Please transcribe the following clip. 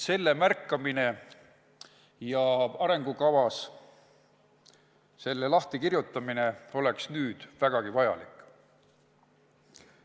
Selle märkamine ja arengukavas lahti kirjutamine oleks nüüd vägagi vajalik.